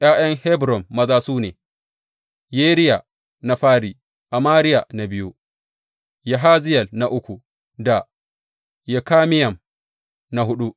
’Ya’yan Hebron maza su ne, Yeriya na fari, Amariya na biyu, Yahaziyel na uku da Yekameyam na huɗu.